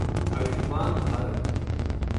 Ayushman Bharat